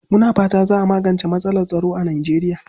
Muna fata za a magance matsalar tsaro a Nijeriya.